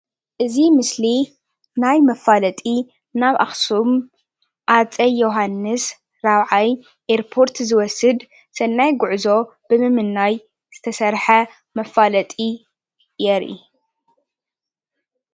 እዚ ምስሊ ናይ መፋለጢ ናብ ኣክሱም ሃፀይ ዮውሃንስ 4ይ ኣየርፖርት ዝወስድ ሰናይ ጉዕዞ ብምምናይ ዝተሰርሐ መፋለጢ የርኢ .